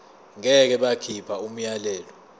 ngeke bakhipha umyalelo